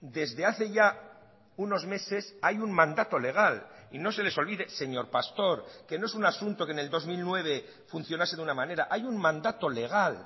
desde hace ya unos meses hay un mandato legal y no se les olvide señor pastor que no es un asunto que en el dos mil nueve funcionase de una manera hay un mandato legal